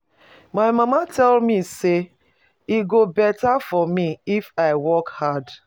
My mama tell me say e go better for me if I work hard.